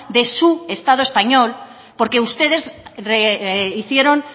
de su estado español porque ustedes hicieron